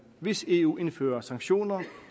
hvis eu indfører sanktioner